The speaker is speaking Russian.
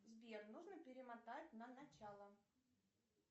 сбер нужно перемотать на начало